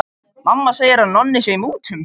Mamma segir að Nonni sé í mútum.